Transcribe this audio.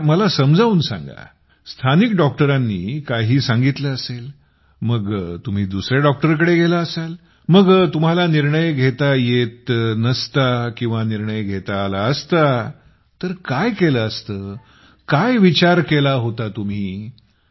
जरा मला समजावून सांगा स्थानिक डॉक्टरांनी काही सांगितले असले मग तुम्ही दुसऱ्या डॉक्टरकडे गेला असाल मग तुम्हाला निर्णय घेता येत नसता किंवा निर्णय देता आला असता तर काय केले असते काय विचार केला होता तुम्ही